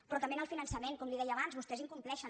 però també en el finançament com li deia abans vostès incompleixen